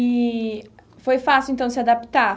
E foi fácil, então, se adaptar?